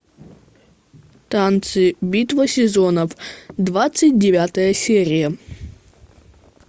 танцы битва сезонов двадцать девятая серия